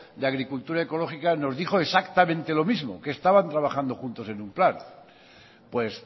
de agricultura ecológica nos dijo exactamente lo mismo que estaban trabajando juntos en un plan pues